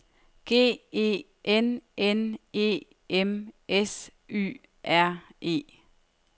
G E N N E M S Y R E